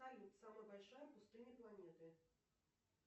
салют самая большая пустыня планеты